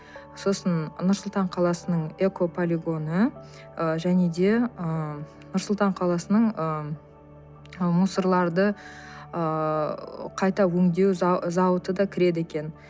сосын нұр сұлтан қаласының экополигоны ы және де ыыы нұр сұлтан қаласының ы мусорларды ыыы қайта өңдеу зауыты да кіреді екен